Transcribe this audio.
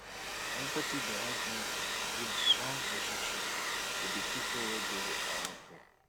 empathy dey help me build strong relationship wit di pipo wey dey around me